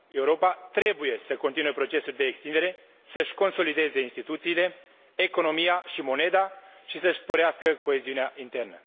Europa trebuie să continue procesul de extindere, să și consolideze instituțiile, economia și moneda și să și sporească coeziunea internă.